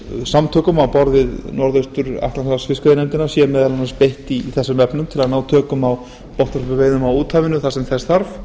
samtökum á borð við norðaustur atlantshafsfiskveiðinefndin sé meðal annars beitt í þessum efnum til að ná tökum á botnvörpuveiðum á úthafinu þar sem þess þarf